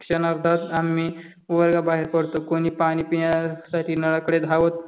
क्षणार्धात आम्ही वर्गाबाहेर पडतो कोणी पाणी पिण्यासाठी नळाकडे धावत